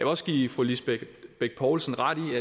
også give fru lisbeth bech poulsen ret